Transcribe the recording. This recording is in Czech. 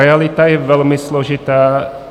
Realita je velmi složitá.